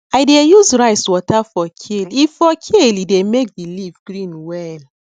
i dey use rice water for kale e for kale e dey make the leaf green well